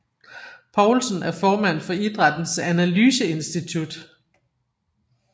Poulsen er formand for Idrættens Analyseinstitut